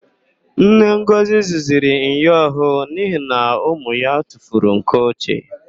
Nne Ngọzị zụziri myọ ọhụụ n'ihi na ụmụ ya tufuru nke ochie.